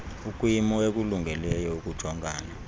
ukwimo ekulungeleyo ukujongana